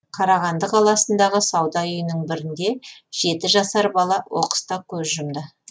қарағанды қаласындағы сауда үйінің бірінде жеті жасар бала оқыста көз жұмды